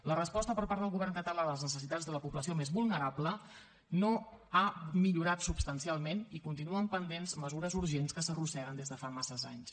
la resposta per part del govern català a les necessitats de la població més vulnerable no ha millorat substancialment i continuen pendents mesures urgents que s’arrosseguen des de fa massa anys